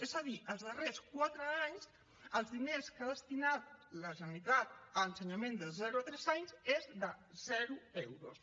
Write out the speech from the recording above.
és a dir els darrers quatre anys els diners que ha destinat la generalitat a ensenyament de zero a tres anys és de zero euros